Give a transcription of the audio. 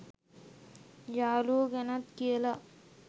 යාළුවො ගැනත් කියලා